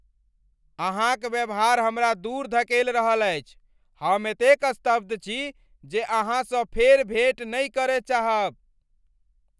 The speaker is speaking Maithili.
अहाँक व्यवहार हमरा दूर धकेल रहल अछि। हम एतेक स्तब्ध छी जे अहाँसँ फेर भेँट नहि करय चाहब!